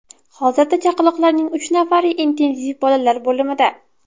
Hozirda chaqaloqlarning uch nafari intensiv bolalar bo‘limida.